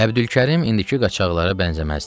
Əbdülkərim indiki qaçaqlara bənzəməzdi.